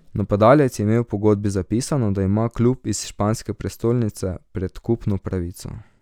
Napadalec je imel v pogodbi zapisano, da ima klub iz španske prestolnice predkupno pravico.